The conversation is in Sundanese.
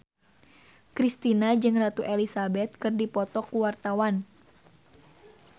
Kristina jeung Ratu Elizabeth keur dipoto ku wartawan